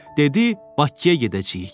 dedi: Bakıya gedəcəyik.